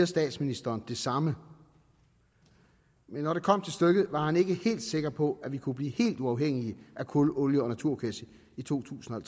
statsministeren det samme men når det kom til stykket var han ikke helt sikker på at vi kunne blive helt uafhængige af kul olie og naturgas i to tusind og